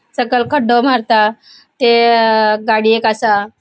सकयल खड्डो मारता ते गाड़ी एक असा.